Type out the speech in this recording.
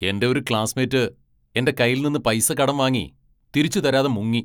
എന്റെ ഒരു ക്ലാസ്സ്മേറ്റ് എന്റെ കൈയിൽ നിന്ന് പൈസ കടം വാങ്ങി തിരിച്ച് തരാതെ മുങ്ങി.